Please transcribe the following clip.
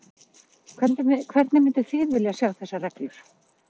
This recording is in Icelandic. Hvernig mynduð þið vilja sjá þessar reglur?